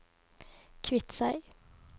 Kviteseid